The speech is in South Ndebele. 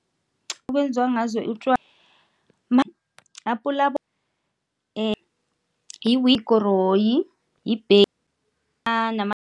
Ekwenziwa ngazo nama.